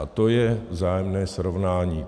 A to je vzájemné srovnání.